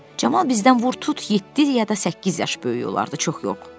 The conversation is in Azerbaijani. Camal bizdən vur tut yeddi ya da səkkiz yaş böyük olardı, çox yox.